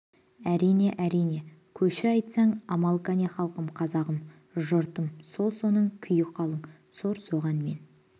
әрине әрине көші айтсаң амал кәне халқым қазағым жұртым сол соның күйі қалың сор соған мен